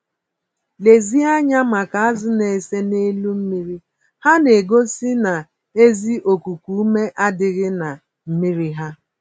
Lezie anya maka azụ na-ese n'elu mmiri - ha na-egosi na ezi okuku-ume adịghị na mmírí ha